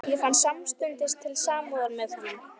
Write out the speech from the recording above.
Ég fann samstundis til samúðar með honum.